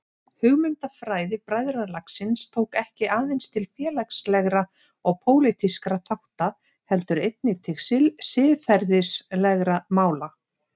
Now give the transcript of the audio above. Hugmyndafræði bræðralagsins tók ekki aðeins til félagslegra og pólitískra þátta heldur einnig til siðferðislegra mála.